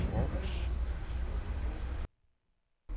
Århus